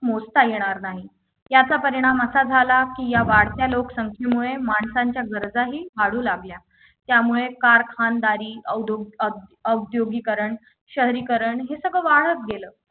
मोजता येणार नाही याचा परिणाम असा झाला की या वाढत्या लोकसंख्येमुळे माणसांच्या गरजाही वाढू लागल्या त्यामुळे कारखानदारी औद्योग औद्यो औद्यो औद्योगीकरण शहरीकरण हे सगळं वाढत गेलं